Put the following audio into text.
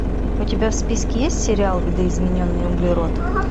у тебя в списке есть сериал видоизмененный углерод